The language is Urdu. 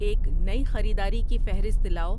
ایک نئی خریداری کی فہرست لاؤ